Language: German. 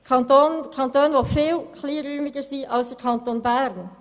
Es handelt sich dabei um Kantone, die viel kleinräumiger sind als der Kanton Bern.